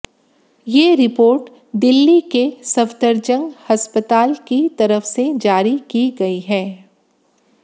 ये रिपोर्ट दिल्ली के सफदरजंग अस्पताल की तरफ से जारी की गई है